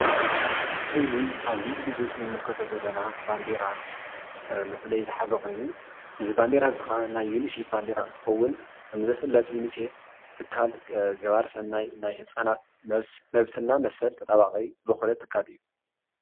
እዙይ ኣብዚ ምስሊ እንምልከቶ ዘለና ባንዴራ መፍለይ ዝሓዘ ኮይኑ እዙይ ባንዴራ እዙይ ከኣ ና ይ ዩኒሴፍ ባንዴራ እንትከውን ከምዝፍልጥ ዩኒሴፍ ትካል ገባሪ ሰናይ ናይ ህፃናት መብትና መሰል ተጣባቂ ዝኮነ ትካል እዩ።